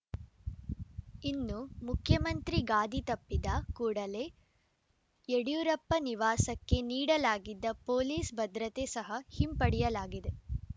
ಇನ್ನು ಮುಖ್ಯಮಂತ್ರಿ ಗಾದಿ ತಪ್ಪಿದ ಕೂಡಲೇ ಯಡಿಯೂರಪ್ಪ ನಿವಾಸಕ್ಕೆ ನೀಡಲಾಗಿದ್ದ ಪೊಲೀಸ್‌ ಭದ್ರತೆ ಸಹ ಹಿಂಪಡೆಯಲಾಗಿದೆ